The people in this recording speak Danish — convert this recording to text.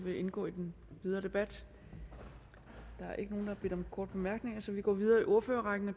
vil indgå i den videre debat der er ikke nogen der har bedt om korte bemærkninger så vi går videre i ordførerrækken og